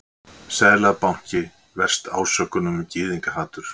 Seðlabanki verst ásökunum um gyðingahatur